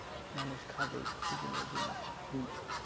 মানুষ খাবেই বিভিন্ন জিনিস